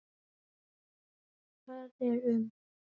Það er um